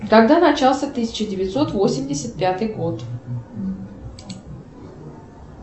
когда начался тысяча девятьсот восемьдесят пятый год